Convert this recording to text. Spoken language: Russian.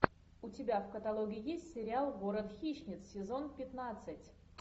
у тебя в каталоге есть сериал город хищниц сезон пятнадцать